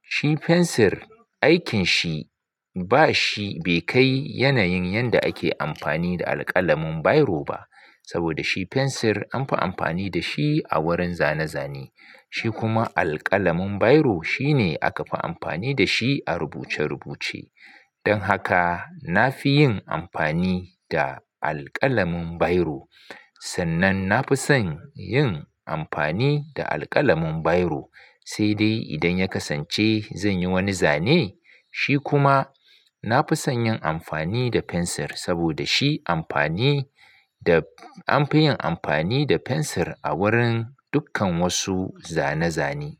Shi fensir aikin shi ba shi bai kai yanayin yanda ake amfani da alƙalamin biro ba. Saboda shi fensir an fi amfani da shi a wurin zane-zane. Shi kuma alƙalamin biro shi ne aka fi amfani da shi a rubuce-rubuce. Don haka na fi yin amfani da alƙalamin biro. Sannan na fi son yin amfani da alƙalamin biro. Sai dai idan ya kasance zan yi wani zane, shi kuma na fi son yin amfani da fensir saboda shi amfani da an fi yin amfani da fensir a wurin dukkan wasu zane-zane.